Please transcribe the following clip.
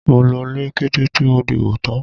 Mo lọlé kété tí mo dìbò tán.